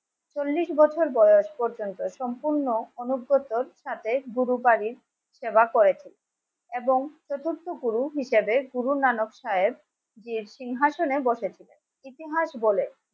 চল্লিশ বছর বয়স পর্যন্ত. সম্পূর্ণ গুরু বাড়ির সেবা করেছেন এবং চতুর্থ গুরু হিসাবে গুরু নানক সাহেব সিংহাসনে বসেছেন ইতিহাস বলে